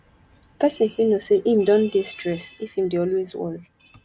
person fit know sey im don dey stress if im dey always worry